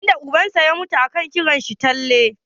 wanda ubansa ya mutum akan kira shi talle